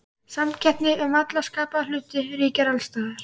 Samkeppni um alla skapaða hluti ríkir alls staðar.